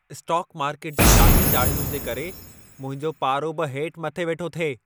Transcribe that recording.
Stock market जी लाही-चाढ़ियुनि जे करे मुंहिंजो पारो बि हेठ मथे वेठो थिए।